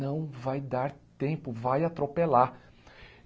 não vai dar tempo, vai atropelar.